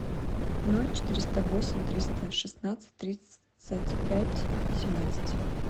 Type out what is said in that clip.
ноль четыреста восемь триста шестнадцать тридцать пять семнадцать